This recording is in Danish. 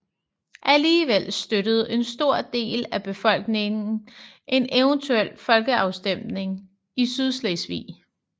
Alligevel støttede en stor del af befolkningen en eventuel folkeafstemning i Sydslesvig